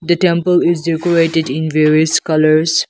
temple is your operated in various colours.